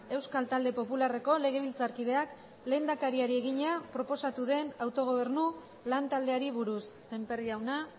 euskal talde popularreko legebiltzarkideak lehendakariari egina proposatu den autogobernu lantaldeari buruz sémper jauna